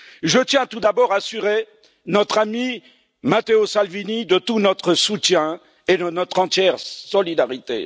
Je tiens, tout d'abord, à assurer notre ami Matteo Salvini de tout notre soutien et de notre entière solidarité.